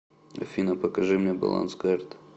афина покажи мне баланс карт